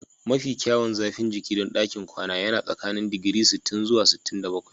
Mafi kyawun zafin jiki don ɗakin kwana yana tsakanin digiri sittin zuwa sittin da bakwai